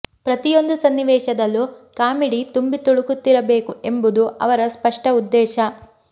ಪ್ರತಿಯೊಂದು ಸನ್ನಿವೇಶದಲ್ಲೂ ಕಾಮಿಡಿ ತುಂಬಿ ತುಳುಕುತ್ತಿರಬೇಕು ಎಂಬುದು ಅವರ ಸ್ಪಷ್ಟ ಉದ್ದೇಶ